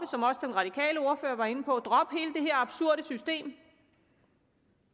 som også den radikale ordfører var inde på at absurde system